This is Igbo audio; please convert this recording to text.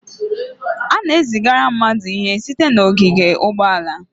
A na-ezigara mmadụ ihe site n'ogige ụgbọala.